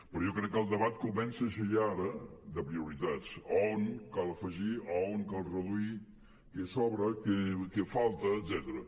però jo crec que el debat comença a ser ja ara de prioritats a on cal afegir a on cal reduir què sobra què falta etcètera